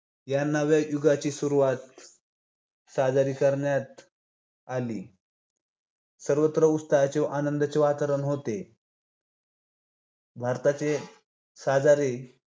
या नव्या युगाची सुरुवात साजरी करण्यात आली. सर्वत्र उत्साहाचे आनंदाचे वातावरण होते. भारताचे शजारी